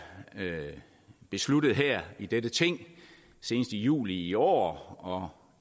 besluttet her i dette ting senest i juli i år og